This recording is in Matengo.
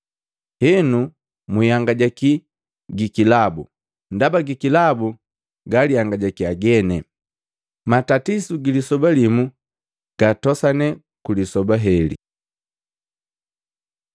Henu mwihangajaki gi kilabu, ndaba gi kilabu galihangajakiya geni. Matatisu gilisoba limu gatosane kulisoba heli.”